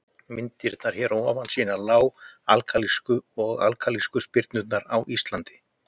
Myndirnar hér að ofan sýna lág-alkalísku og alkalísku syrpurnar á Íslandi.